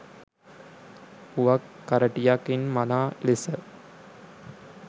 පුවක් කරටියකින් මනා ලෙස